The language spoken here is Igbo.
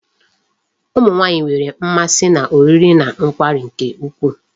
Ụmụ nwaanyị nwere mmasị n'oriri na nkwari nke ukwuu.